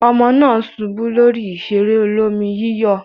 Ọmọ náà ṣubú lórí ìṣeré olómi-yíyọ̀.